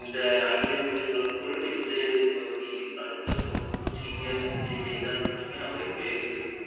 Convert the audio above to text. இந்த ஐந்து நிமிடங்களுக்குள் நெஞ்சு பகுதியில் அழுத்தம் கொடுக்கும் CPR சிகிச்சை செய்தால் மட்டுமே அவரை பிழைக்க வைக்க முடி~